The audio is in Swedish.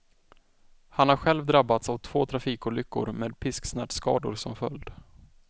Han har själv drabbats av två trafikolyckor med pisksnärtskador som följd.